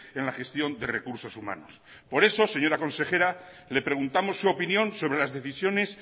en la gestión de recursos humanos por eso señora consejera le preguntamos su opinión sobre las decisiones